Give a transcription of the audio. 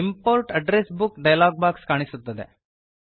import address book dialog box ಕಾಣಿಸುತ್ತದೆ